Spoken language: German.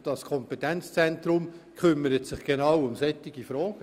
Und dieses Kompetenzzentrum kümmert sich genau um solche Fragen.